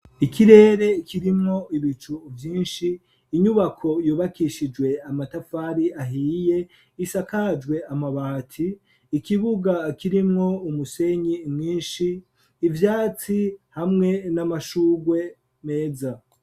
Ikirere kirimwo ibicu vyinshi, inyubako yubakishijwe amatafari ahiye isakajwe amabati, ikibuga kirimwo umusenyi mwinshi, ivyatsi hamwe n'amashurwe meza.